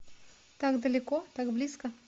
так далеко так близко